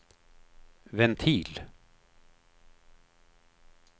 ventil